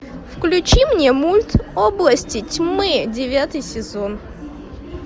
включи мне мульт области тьмы девятый сезон